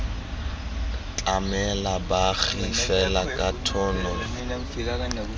tlamela baagi fela ka tshono